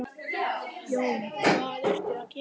Jón: Hvað ertu að gera?